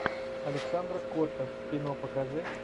александра котта кино покажи